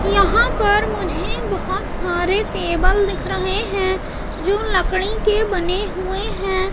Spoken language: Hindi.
यहां पर मुझे बहोत सारे टेबल दिख रहे हैं जो लकड़ी के बने हुए हैं।